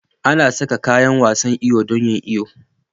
Ana sa kayan wasan iyo don yin iyo.